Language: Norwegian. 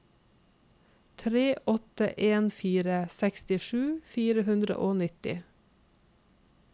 tre åtte en fire sekstisju fire hundre og nitti